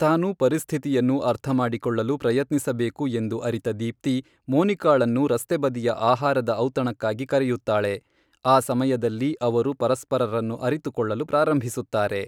ತಾನು ಪರಿಸ್ಥಿತಿಯನ್ನು ಅರ್ಥಮಾಡಿಕೊಳ್ಳಲು ಪ್ರಯತ್ನಿಸಬೇಕು ಎಂದು ಅರಿತ ದೀಪ್ತಿ, ಮೋನಿಕಾಳನ್ನು ರಸ್ತೆಬದಿಯ ಆಹಾರದ ಔತಣಕ್ಕಾಗಿ ಕರೆಯುತ್ತಾಳೆ, ಆ ಸಮಯದಲ್ಲಿ ಅವರು ಪರಸ್ಪರರನ್ನು ಅರಿತುಕೊಳ್ಳಲು ಪ್ರಾರಂಭಿಸುತ್ತಾರೆ.